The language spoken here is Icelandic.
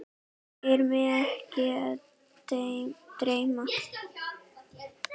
Er mig ekki að dreyma?